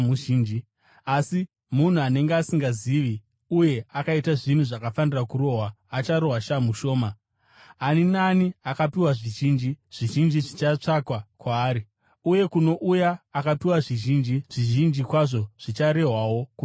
Asi munhu anenge asingazivi uye akaita zvinhu zvakafanira kurohwa, acharohwa shamhu shoma. Ani naani akapiwa zvizhinji, zvizhinji zvichatsvakwa kwaari; uye kuno uya akapiwa zvizhinji, zvizhinji kwazvo zvicharehwawo kubva kwaari.